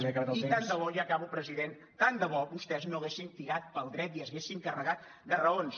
i tant de bo ja acabo president vostès no haguessin tirat pel dret i s’haguessin carregat de raons